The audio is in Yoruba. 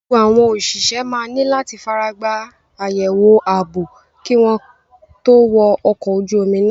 Gbogbo àwọn òṣìṣẹ́ máa ní láti faragbá àyẹ̀wò ààbò kí wọ́n tó wọ ọkọ̀ ojú omi náà.